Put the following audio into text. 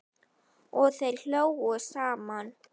Og þeir hlógu saman.